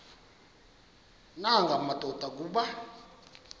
nanga madoda kuba